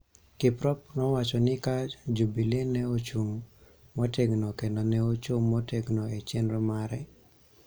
Kiprop nowacho ni ka Jubili ne ochung� motegno kendo ne ochung� motegno e chenro mare.